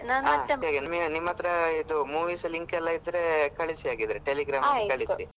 ನಿಮ್ ಅತ್ರ ಇದು movies link ಎಲ್ಲ ಇದ್ರೆ ಕಳ್ಸಿ ಹಾಗಿದ್ರೆ Telegram ಅಲ್ಲಿ ಕಳ್ಸಿ .